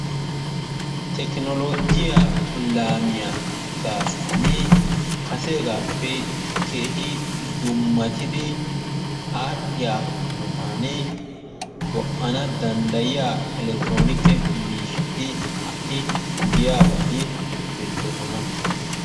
Tekinoloojjiya laamiya gaasuwani kaseegaaappe keehi dummatidi aadhiya hanotaani go'ana danddayiya elekitiroonikke miishati ha'i giyaa bolli beetoososna,